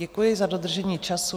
Děkuji za dodržení času.